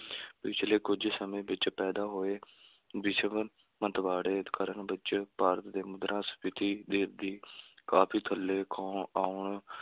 ਪਿਛਲੇ ਕੁੱਝ ਸਮੇਂ ਵਿੱਚ ਪੈਦਾ ਹੋਏ ਵਿਸ਼ਵ ਮੰਦਵਾੜੇ ਕਾਰਨ ਵਿੱਚ ਭਾਰਤ ਦੇ ਮੁਦਰਾ ਸਫ਼ੀਤੀ ਦੇ ਦੀ ਕਾਫ਼ੀ ਥੱਲੇ ਆਉਣ ਆਉਣ